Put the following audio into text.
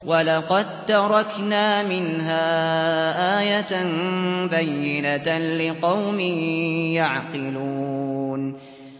وَلَقَد تَّرَكْنَا مِنْهَا آيَةً بَيِّنَةً لِّقَوْمٍ يَعْقِلُونَ